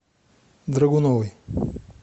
драгуновой